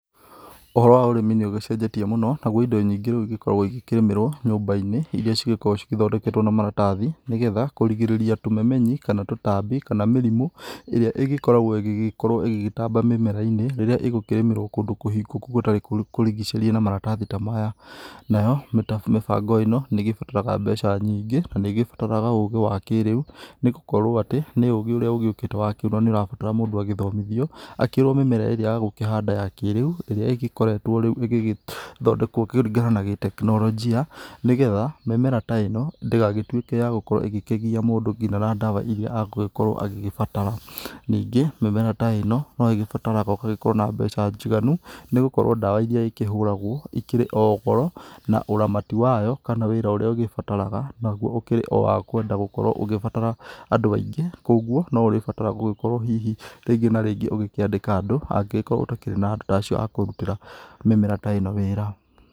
Ũhoro wa ũrĩmi nĩ ũgĩcenjetie mũno naguo ĩndo nyingĩ rĩu ĩgĩkoragwo ĩgĩkĩrĩmĩrwo nyumba-inĩ ĩria cĩgĩkoragwo cithondeketwo na maratathi, nĩgetha kũrigĩrĩria tũmemenyi kana tũtambi kana mĩrimũ ĩrĩa ĩgĩkoragwo ĩgĩkorwo ĩgĩtamba mĩmera-inĩ rĩrĩa ĩgũkĩrĩmĩrwo kũndũ kũhingũku gũtarĩ kũrigicĩrie na maratathi ta maya. Nayo mĩbango ĩno nĩ gĩbataraga mbeca nyingĩ, na nĩ gĩbataraga ũgĩ wa kĩrĩu, nĩgũkorwo atĩ nĩ ũgĩ ũrĩa ũgĩũkĩte wa kĩrĩu na nĩ ũrabatara mũndũ agĩthomithio akĩrwo mĩmera ĩrĩa ya gũkĩhanda ya kĩrĩu ĩrĩa ĩkoretwo rĩu ĩgĩthondekwo kũringana na gĩ- tekinoronjia, nĩgetha mĩmera ta ĩno ndĩgagĩtuĩke ya gũkorwo ĩgĩkĩgiya mũndũ nginya na ndawa ĩrĩa egũgĩkorwo agĩgĩbatara. Ningĩ mĩmera ta ĩno no ĩgĩbataraga ũgagĩkorwo na mbeca njĩganu, nĩgũkorwo ndawa ĩrĩa ĩkĩhũragwo ĩkĩrĩ o goro, na ũramati wayo kana wĩra ũrĩa ũgĩbataraga naguo ũkĩrĩ o wa kũenda gũkorwo ũgĩbatara andũ aingĩ, koguo no ũrĩbatara gũgĩkorwo hihi rĩngĩ na rĩngĩ ũgĩkĩandĩka andũ angĩgĩkorwo ũtakĩrĩ na andũ ta acio a kũrutĩra mĩmera ta ĩno wĩra.